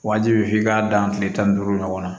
Wajibi f'i k'a dan kile tan ni duuru ɲɔgɔn na